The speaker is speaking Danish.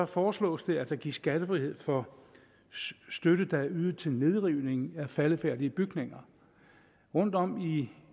foreslås det at der gives skattefrihed for støtte der er ydet til nedrivning af faldefærdige bygninger rundtom